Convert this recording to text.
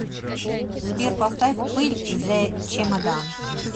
сбер поставь пыль зэ чемодан